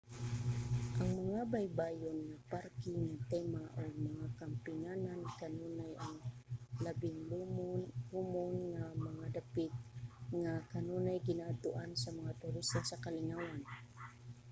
ang mga baybayon mga parke nga tema ug mga kampinganan kanunay ang labing komon nga mga dapit nga kanunay ginaadtoan sa mga turista sa kalingawan